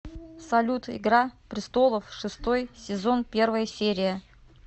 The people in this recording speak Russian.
салют игра престолов шестой сезон первая серия